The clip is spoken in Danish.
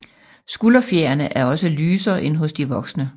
Skulderfjerene er også lysere end hos de voksne